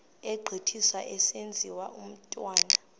egqithiswa esenziwa umthunywa